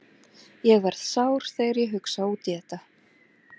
Ég verð sár þegar ég hugsa út í þetta.